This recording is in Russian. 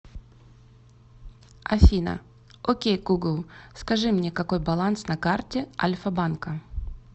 афина окей гугл скажи мне какой баланс на карте альфа банка